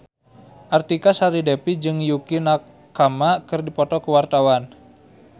Artika Sari Devi jeung Yukie Nakama keur dipoto ku wartawan